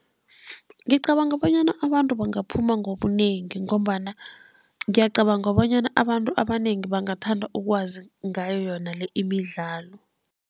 Ngicabanga bonyana abantu bangaphuma ngobunengi, ngombana ngiyacabanga bonyana abantu abanengi bangathanda ukwazi ngayo yona le imidlalo.